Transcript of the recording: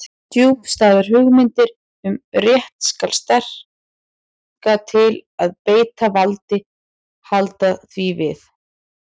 Djúpstæðar hugmyndir um rétt hins sterka til að beita valdi halda því við.